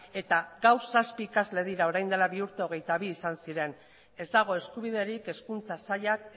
eta gaur zazpi ikasle dira orain dela bi urte hogeita bi izan ziren ez dago eskubiderik hezkuntza sailak